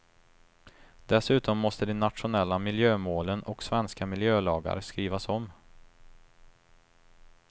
Dessutom måste de nationella miljömålen och svenska miljölagar skrivas om.